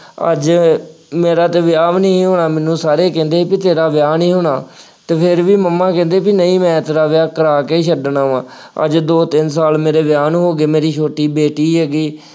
ਅੱਜ ਮੇਰਾ ਤਾਂ ਵਿਆਹ ਵੀ ਨਹੀਂ ਹੋਣਾ, ਮੈਨੂੰ ਸਾਰੇ ਕਹਿੰਦੇ ਸੀ ਕਿ ਤੇਰਾ ਵਿਆਹ ਨਹੀਂ ਹੋਣਾ ਅਤੇ ਫੇਰ ਵੀ ਮੰਮਾ ਕਹਿੰਦੇ ਨਹੀਂ ਮੈਂ ਤੇਰਾ ਵਿਆਹ ਕਰਾ ਕੇ ਹੀ ਛੱਡਣਾ ਵਾ, ਅੱਜ ਦੋ ਤਿੰਨ ਸਾਲ ਮੇਰੇ ਵਿਆਹ ਨੂੰ ਹੋ ਗਏ, ਮੇਰੀ ਛੋਟੀ ਬੇਟੀ ਹੈਗੀ।